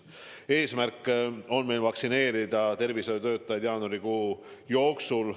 Eesmärk on vaktsineerida tervishoiutöötajad jaanuarikuu jooksul.